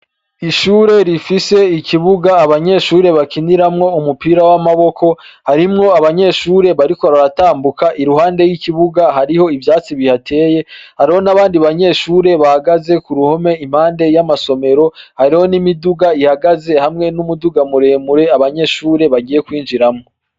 Ishure rifise ikibuga abanyeshure bakiniramwo umupira w' amaboko harimwo abanyeshure bariko baratambuka iruhande y' ikibuga hariho ivyatsi bihateye hariho n' abandi banyeshure bahagaze kuruhome impande y' amasomero hariyo n' imiduga ihagaze hamwe n' umuduga mure mure abanyeshure bagiye kwinjiramwo.